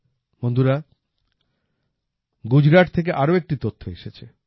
বন্ধুরা গুজরাট থেকে আরও একটি তথ্য এসেছে